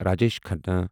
Rajesh Khanna